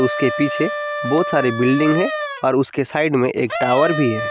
उसके पीछे बहुत सारे बिल्डिंग है और उसके साइड में एक टॉवर भी है।